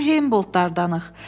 Biz elə Heyboldlardanıq.